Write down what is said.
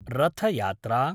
Rath Yatra